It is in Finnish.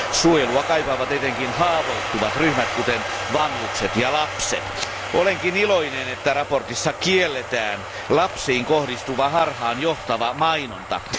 Suojelua kaipaavat etenkin haavoittuvat ryhmät, kuten vanhukset ja lapset. Olenkin iloinen, että mietinnössä kielletään lapsiin kohdistuva harhaanjohtava mainonta.